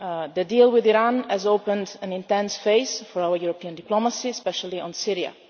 The deal with Iran has opened an intense phase for our European diplomacy, especially on Syria.